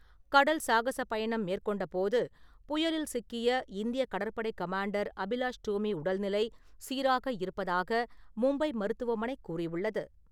கடல் சாகசப் பயணம் மேற்கொண்டபோது புயலில் சிக்கிய இந்திய கடற்படை கமாண்டர் அபிலாஷ் டோமி உடல்நிலை சீராக இருப்பதாக மும்பை மருத்துவமனை கூறியுள்ளது.